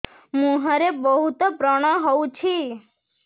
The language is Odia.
ମୁଁହରେ ବହୁତ ବ୍ରଣ ହଉଛି